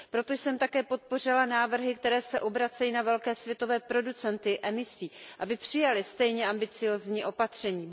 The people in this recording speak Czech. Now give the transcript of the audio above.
Proto jsem také podpořila návrhy, které se obracejí na velké světové producenty emisí, aby přijali stejně ambiciózní opatření.